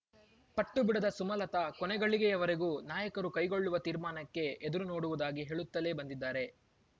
ಪಟ್ಟುಬಿಡದ ಸುಮಲತ ಕೊನೆಗಳಿಗೆವರೆಗೂ ನಾಯಕರು ಕೈಗೊಳ್ಳುವ ತೀರ್ಮಾನಕ್ಕೆ ಎದುರುನೋಡುವುದಾಗಿ ಹೇಳುತ್ತಲೇ ಬಂದಿದ್ದಾರೆ